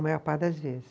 A maior parte das vezes.